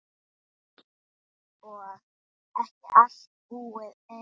Og ekki allt búið enn.